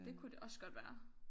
Det kunne det også godt være